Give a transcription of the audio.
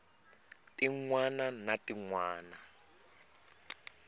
tin wana na tin wana